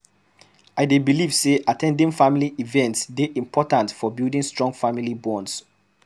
I dey believe say at ten ding family events dey important for building strong family bonds.